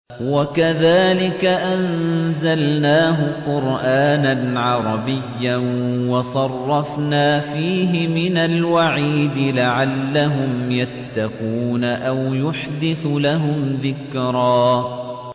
وَكَذَٰلِكَ أَنزَلْنَاهُ قُرْآنًا عَرَبِيًّا وَصَرَّفْنَا فِيهِ مِنَ الْوَعِيدِ لَعَلَّهُمْ يَتَّقُونَ أَوْ يُحْدِثُ لَهُمْ ذِكْرًا